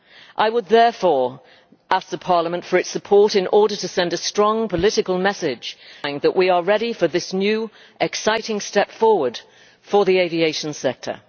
I would therefore ask Parliament for its support in order to send a strong political message that we are ready for this new exciting step forward for the aviation sector.